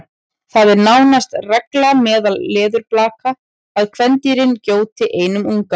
það er nánast regla meðal leðurblaka að kvendýrin gjóti einum unga